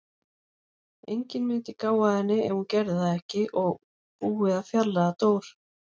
Enginn mundi gá að henni ef ég gerði það ekki og búið að fjarlægja Dór.